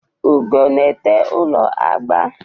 Ugo na-ete ụlọ agba.